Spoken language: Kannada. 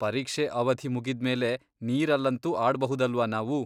ಪರೀಕ್ಷೆ ಅವಧಿ ಮುಗಿದ್ಮೇಲೆ ನೀರಲ್ಲಂತೂ ಆಡ್ಬಹುದಲ್ವಾ ನಾವು?